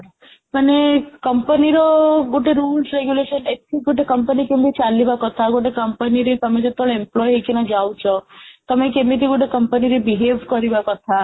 ମାନେ company ର ଗୋଟେ rules regulation ଏଠି ଗୋଟେ company କେମିତି ଚାଲିବ କଥା ଗୋଟେ company ରେ ତମେ ଯେତେବେଳେ employee ହେଇକିନା ଯାଉଛ ତମେ କେମିତି ଗୋଟେ company ରେ behave କରିବା କଥା